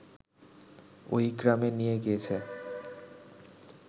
ওই গ্রামে নিয়ে গিয়েছে